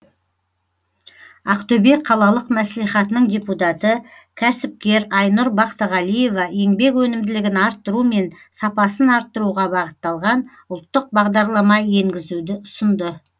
ақтөбе қалалық мәслихатының депутаты кәсіпкер айнұр бақтығалиева еңбек өнімділігін арттыру мен сапасын арттыруға бағытталған ұлттық бағдарлама енгізуді ұсынды